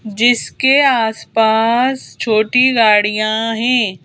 जिसके आसपास छोटी गाड़ियां हैं।